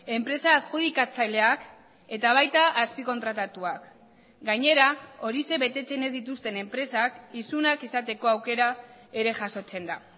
enpresa adjudikatzaileak eta baita azpikontratatuak gainera horixe betetzen ez dituzten enpresak isunak izateko aukera ere jasotzen da